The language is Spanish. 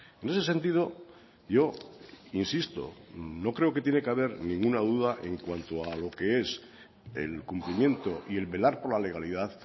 en ese sentido yo insisto no creo que tiene que haber ninguna duda en cuanto a lo que es el cumplimiento y el velar por la legalidad